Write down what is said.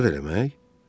Azad eləmək?